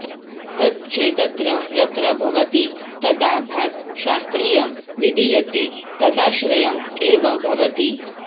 तच् चेदत्र यत्र भवति तदा भात् शास्त्रीयं विधीयते तदाश्रयम् एव भवति